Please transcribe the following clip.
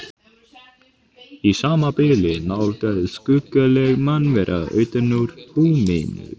Í sama bili nálgaðist skuggaleg mannvera utan úr húminu.